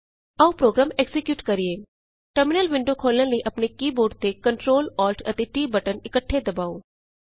ਆਉ program execute ਕਰੀਏ terminal window ਖੋਲ੍ਹਣ ਲਈ ਆਪਣੇ ਕੀ ਬੋਰਡ ਤੇ Ctrl Alt and T button ਇੱਕਠੇ ਦਬਾਉ